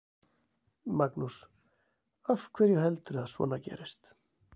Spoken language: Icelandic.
Magnús: Af hverju heldurðu að svona gerist?